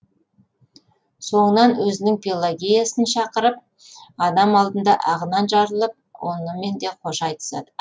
соңынан өзінің пелагеясын шақырып адам алдында ағынан жарылып онымен де қош айтысады